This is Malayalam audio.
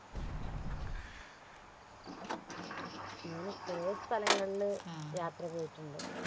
ചെറിയ സ്ഥലങ്ങളി യാത്ര പോയിട്ടുണ്ട്